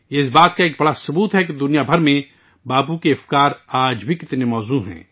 یہ اس بات کا بہت بڑا ثبوت ہے کہ باپو کے خیالات آج بھی پوری دنیا میں کتنے اہم ہیں